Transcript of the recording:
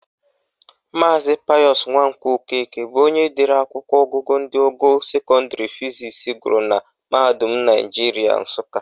Maazi Payọsụ Nwankwọ Okeke bụ onye dere akwụkwọ ọgụgụ ndị ọgọ ukwuu sekọndịrị fizisi gụrụ na mahadum Naijiria Nsụka